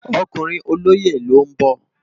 Òkúrin ólóyé ló n bò